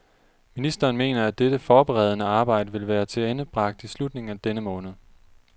Ministeren mener, at dette forberedende arbejde vil være tilendebragt i slutningen af denne måned.